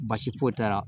Baasi foyi t'a la